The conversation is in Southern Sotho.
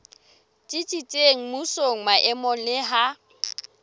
tsitsitseng mmusong maemong le ha